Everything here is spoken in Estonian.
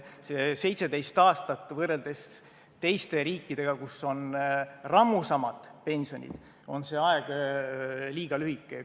See 17 aastat, võrreldes teiste riikidega, kus on rammusamad pensionid, on liiga lühike aeg.